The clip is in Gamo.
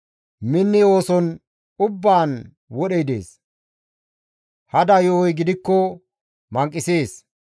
Minni ooson ubbaan wodhey dees; hada yo7oy gidikko manqisees.